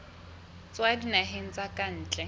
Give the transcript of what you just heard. tswa dinaheng tsa ka ntle